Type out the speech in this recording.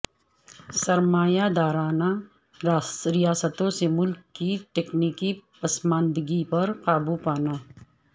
سرمایہ دارانہ ریاستوں سے ملک کے تکنیکی پسماندگی پر قابو پانا